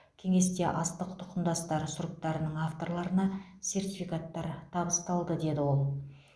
кеңесте астық тұқымдастары сұрыптарының авторларына сертификаттар табысталды деді ол